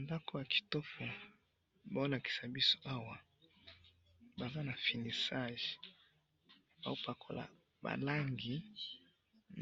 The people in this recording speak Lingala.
ndaku ya kitoko bazo lakisa biso awa baza na finissage bazo pakola ba langi